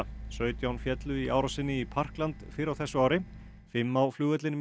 sautján féllu í árásinni í fyrr á þessu ári fimm á flugvellinum í